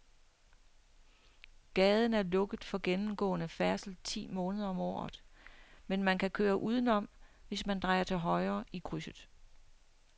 Gaden er lukket for gennemgående færdsel ti måneder om året, men man kan køre udenom, hvis man drejer til højre i krydset.